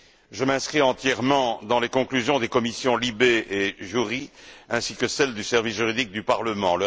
Je souscris entièrement aux conclusions des commissions LIBE et JURI ainsi qu'à celles du service juridique du Parlement.